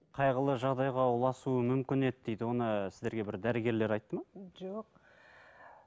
қайғылы жағдайға ұласуы мүмкін еді дейді оны сіздерге бір дәрігерлер айтты ма жоқ